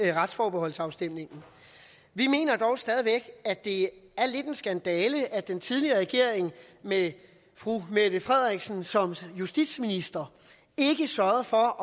i retsforbeholdsafstemningen vi mener dog stadig væk at det er lidt af en skandale at den tidligere regering med fru mette frederiksen som justitsminister ikke sørgede for